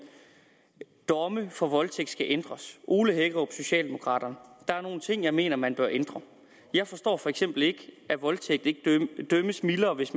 domme for voldtægt skal ændres ole hækkerup socialdemokraterne der er nogle ting som jeg mener man bør ændre jeg forstår for eksempel ikke at voldtægt dømmes mildere hvis